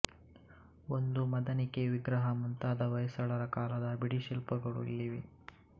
ಒಂದು ಮದನಿಕೆ ವಿಗ್ರಹ ಮುಂತಾದ ಹೊಯ್ಸಳರ ಕಾಲದ ಬಿಡಿಶಿಲ್ಪಗಳು ಇಲ್ಲಿವೆ